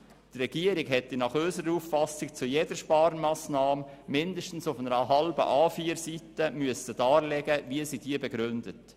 Die Regierung hätte nach unserer Auffassung zu jeder Sparmassnahme mindestens auf einer halben A4-Seite eine Begründung darlegen müssen.